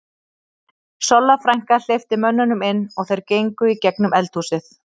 Solla frænka hleypti mönnunum inn og þeir gengu í gegnum eldhúsið.